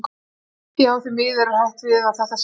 Já, því miður er hætt við að þetta sé úr sögunni.